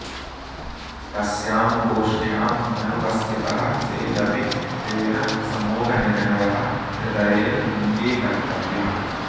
तस्यां गोष्ठ्याम् अनुपस्थितः चेदपि तेन समूहनिर्णयः हृदयेन अङ्गीकर्तव्यः